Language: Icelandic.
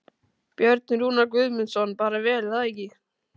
Björn Rúnar Guðmundsson: Bara vel er það ekki?